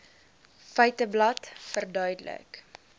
feiteblad verduidelik